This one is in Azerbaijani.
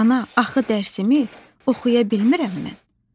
Ana, axı dərsimi oxuya bilmirəm mən.